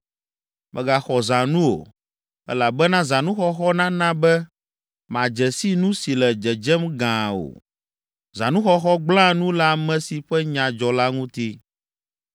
“Mègaxɔ zãnu o, elabena zãnuxɔxɔ nana be màdze si nu si le dzedzem gãa o. Zãnuxɔxɔ gblẽa nu le ame si ƒe nya dzɔ la ŋuti.